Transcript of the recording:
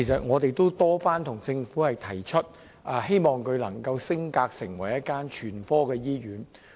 我們多次向政府提出，希望北大嶼山醫院能夠升格成為一所全科醫院。